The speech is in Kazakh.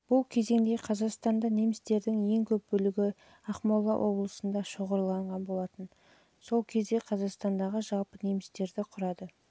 бұл кезеңде қазақстанда немістердің ең көп бөлігі ақмола облысында шоғырланып олар сол кезде қазақстандағы жалпы немістердің құрады